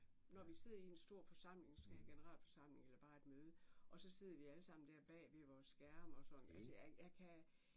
Når vi sidder i en stor forsamling måske en generalforsamling eller bare et møde og så sidder vi alle sammen der bag ved vores skærme og sådan altså jeg kan